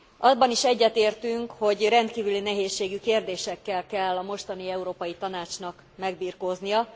Abban is egyetértünk, hogy rendkívüli nehézségű kérdésekkel kell a mostani Európai Tanácsnak megbirkóznia.